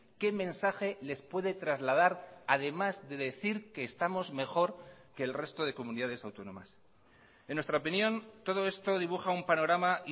qué mensaje les puede trasladar además de decir que estamos mejor que el resto de comunidades autónomas en nuestra opinión todo esto dibuja un panorama